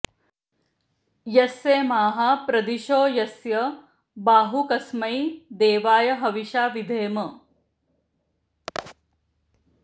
यस्येमाः प्रदिशो यस्य बाहू कस्मै देवाय हविषा विधेम